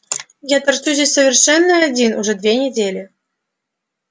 я торчу здесь совершенно один уже две недели